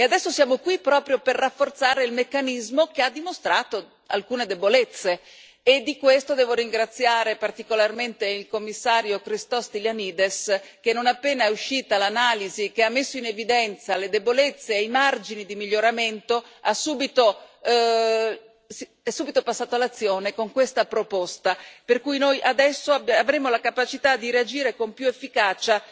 E adesso siamo qui proprio per rafforzare il meccanismo che ha dimostrato alcune debolezze e di questo devo ringraziare particolarmente il Commissario Christos Stylianides che, non appena è uscita l'analisi che ha messo in evidenza le debolezze e i margini di miglioramento, è subito passato all'azione con questa proposta, per cui noi adesso avremo la capacità di reagire con più efficacia,